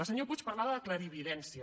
el senyor puig parlava de clarividència